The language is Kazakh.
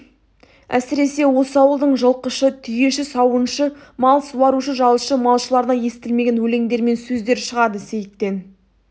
әсіресе осы ауылдың жылқышы түйеші сауыншы мал суарушы жалшы-малшыларына естілмеген өлеңдер мен сөздер шығады сейіттен